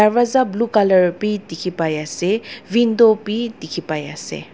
dorwaza blue colour bi dekhi pai ase window bi dekhi pai ase.